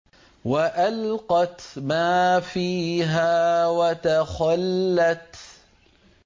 وَأَلْقَتْ مَا فِيهَا وَتَخَلَّتْ